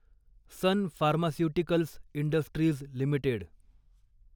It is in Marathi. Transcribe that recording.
sun Pharmaceuticals Industries limited